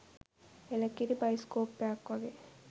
එළ කිරි බයිස්කෝප් එකක් වගේ.